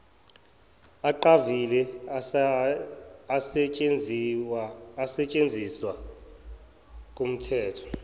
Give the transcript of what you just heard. aqavile asetshenziswa kumthetho